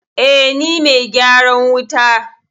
Eh, ni me gyaran wuta